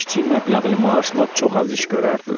Kiçik məbləğli maaşla çox az iş görərdilər.